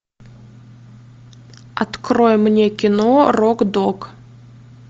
открой мне кино рок дог